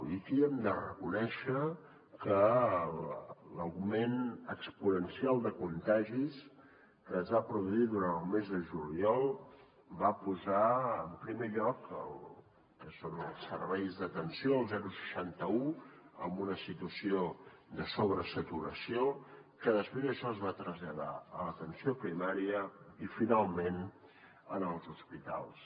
i aquí hem de reconèixer que l’augment exponencial de contagis que es va produir durant el mes de juliol va posar en primer lloc el que són els serveis d’atenció el seixanta un en una situació de sobresaturació que després això es va traslladar a l’atenció primària i finalment als hospitals